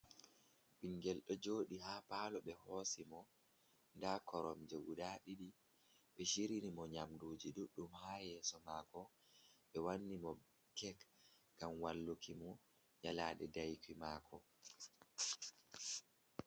Ɓingel ɗo joɗi ha palo ɓe hosi mo, nda koromje guda ɗiɗi, ɓe shiriyini mo nyamduji ɗuɗɗum ha yeso mako ɓe wannimo kek ngam walluki mo nyalade daƴurki mako.